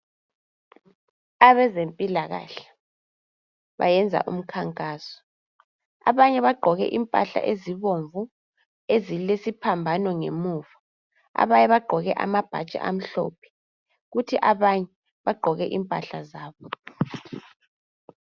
Abezempilakahle bayenza umkhankaso abanye bagqoke impahla ezibomvu ezilesiphambano ngemuva abanye bagqoke amabhatshi amhlophe kuthi abanye bagqoke impahla zabo.